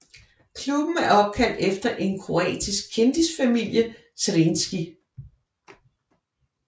Klubben er opkaldt efter en kroatisk kendisfamilie Zrinjski